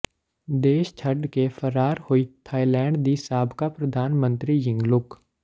ਦੇਸ਼ ਛੱਡ ਕੇ ਫਰਾਰ ਹੋਈ ਥਾਈਲੈਂਡ ਦੀ ਸਾਬਕਾ ਪ੍ਰਧਾਨ ਮੰਤਰੀ ਯਿੰਗਲੁਕ